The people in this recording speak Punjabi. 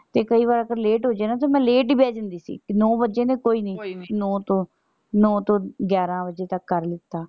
ਤੇ ਕਈ ਵਾਰ ਆਪਾਂ late ਹੋ ਜਾਈਏ ਨਾ ਤੇ ਮੈਂ late ਈ ਬਹਿ ਜਾਂਦੀ ਸੀ ਤੇ ਨੌ ਵੱਜੇ ਨੇ ਕੋਈ ਨਹੀਂ ਕੋਈ ਨ੍ਹ੍ਹਿ ਤੇ ਨੋ ਤੋਂ ਨੋ ਤੋਂ ਗਿਆਰਾਂ ਵਜੇ ਤੱਕ ਕਰ ਲਿੱਤਾ।